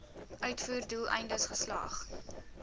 uitvoer doeleindes geslag